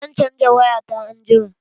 Zan caja waya ta anjima.